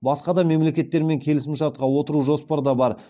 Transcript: басқа да мемлекеттермен келісімшартқа отыру жоспарда бар